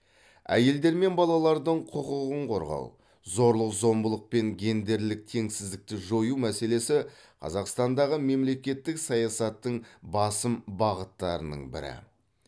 әйелдер мен балалардың құқығын қорғау зорлық зомбылық пен гендерлік теңсіздікті жою мәселесі қазақстандағы мемлекеттік саясаттың басым бағыттарының бірі